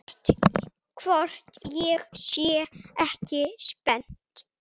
Hvort ég sé ekki spennt?